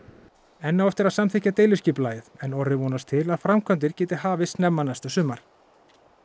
enn á eftir að samþykkja deiliskipulagið en Orri vonast til að framkvæmdir geti hafist snemma næsta sumar